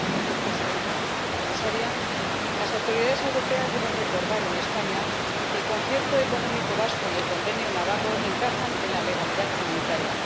Señora Presidenta, señora Comisaria, las autoridades europeas deben recordar a España que el Concierto Económico vasco y el Convenio navarro encajan en la legalidad comunitaria.